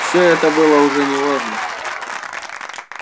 всё это было уже не важно